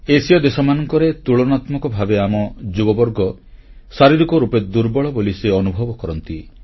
ଏସୀୟ ଦେଶମାନଙ୍କରେ ତୁଳନାତ୍ମକ ଭାବେ ଆମ ଯୁବବର୍ଗ ଶାରୀରିକ ରୂପେ ଦୁର୍ବଳ ବୋଲି ସେ ଅନୁଭବ କରନ୍ତି